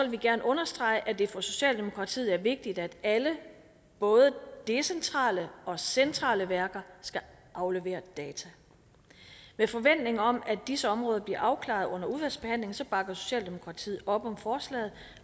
vi gerne understrege at det for socialdemokratiet er vigtigt at alle både decentrale og centrale værker skal aflevere data med forventning om at disse områder bliver afklaret under udvalgsbehandlingen bakker socialdemokratiet op om forslaget